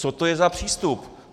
Co to je za přístup?